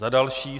Za další.